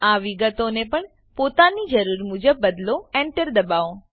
આ વિગતોને પણ પોતાની જરૂર મુજબ બદલો એન્ટર દબાવો